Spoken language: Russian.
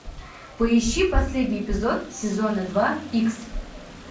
поищи последний эпизод сезона два икс